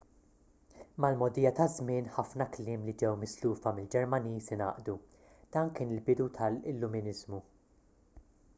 mal-mogħdija taż-żmien ħafna kliem li ġew mislufa mill-ġermaniż ingħaqdu dan kien il-bidu tal-illuminiżmu